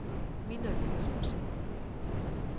Minna Caspersen